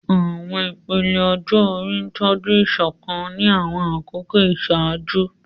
Àwọn ìpele ọjọ́ orí tọ́jú ìṣọ̀kan ní àwọn àkókò ìṣáájú.